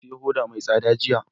Na saya hoda mai tsada jiya